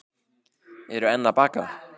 Eru enn að baka